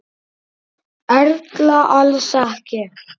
Erla: Alls ekki?